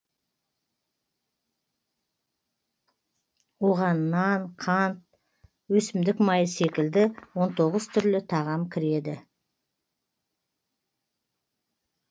оған нан қант өсімдік майы секілді он тоғыз түрлі тағам кіреді